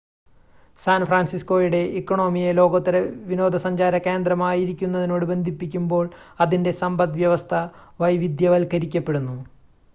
San ഫ്രാൻസിസ്കോയുടെ ഇക്കോണമിയെ ലോകോത്തര വിനോദസഞ്ചാര കേന്ദ്രമായിരിക്കുന്നതിനോട് ബന്ധിപ്പിക്കുമ്പോൾ അതിൻ്റെ സമ്പദ്‌വ്യവസ്ഥ വൈവിധ്യവൽക്കരിക്കപ്പെടുന്നു